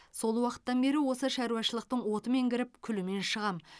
сол уақыттан бері осы шаруашылықтың отымен кіріп күлімен шығамын